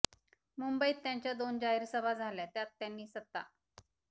मुंबईत त्यांच्या दोन जाहीर सभा झाल्या त्यात त्यांनी सत्ता